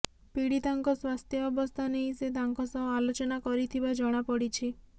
ପୀଡିତାଙ୍କ ସ୍ୱାସ୍ଥ୍ୟ ଅବସ୍ଥା ନେଇ ସେ ତାଙ୍କ ସହ ଆଲୋଚନା କରିଥିବା ଜଣାପଡିଛି